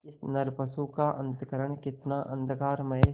इस नरपशु का अंतःकरण कितना अंधकारमय